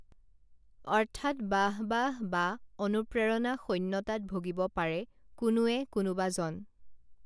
অৰ্থাৎ বাঃ বাঃ বা অনুপ্ৰেৰণা শূন্যতাত ভুগিব পাৰে কোনোৱে কোনোবাজন